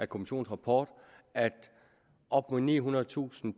kommissionens rapport at op mod nihundredetusind